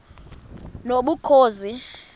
nobukhosi